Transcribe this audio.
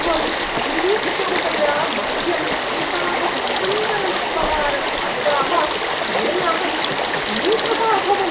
त्वम् अनिरीक्षिततया मह्यम् एतावत्सुन्दरम् उपहारम् अददाः येन अहं मूकः अभवम्।